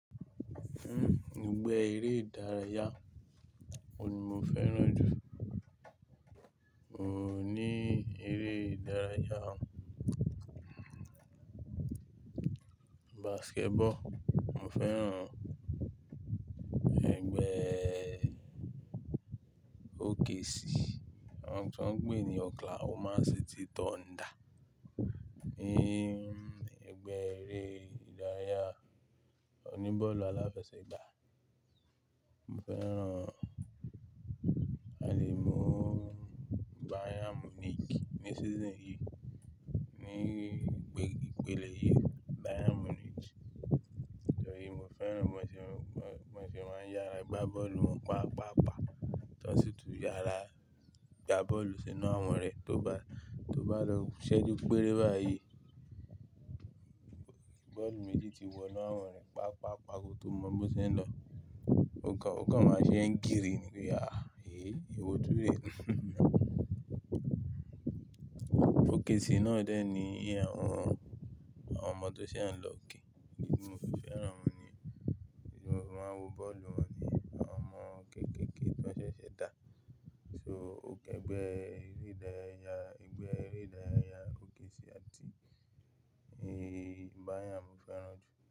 Ẹ̀gbẹ́ eré ìdárayá wo ni mo fẹ́ràn jù? N ò ní eré ìdárayá, basketball. Mo fẹ́ràn ẹgbẹ́ OKC, wọ́n ń pè é ní Oklahoma City Thunder. Ni ẹgbẹ́ eré ìdárayá oní bọ́ọ̀lù aláfẹsẹ̀gbá. Mo fẹ́ràn a le mu Bayern Munich ní season yìí, ní ìpele yìí Bayern Munich. Ìdòtí mo fẹ́ràn wọn, mo fi máa ń yára gbá bọ́ọ̀lù wọn paapaa. Tọ́ sí ìtùú yàrá, gbá bọ́ọ̀lù sínú àwọn rẹ̀ tó bá lọ ṣẹ́jú péré báyìí, bọ́ọ̀lù méjì ti wọ inú àwọn rẹ̀, pàápàá kó tó mọ bí wọ́n ṣe ń lọ. Ó kan máa ṣe ń kiri nínú ìyà, "eh! Èwo túre." OKC náà dẹ̀ ní àwọn ọmọ tó ṣe ń lọ gé. Idi ti mo fi fẹ́ràn wọn niyen? Ìdí ti mo fi máa ń wo bọ́ọ̀lù wọn ni àwọn ọmọ kéékèèké tó ṣẹ̀ṣẹ̀ dà. So ẹgbẹ́ eré ìdárayá OKC àti Bayern mo fẹ́ràn jù.